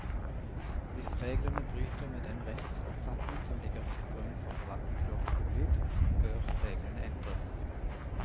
Hvis reglene bryter med den rettsoppfatning som ligger til grunn for forvaltningslovens ordlyd, bør reglene endres.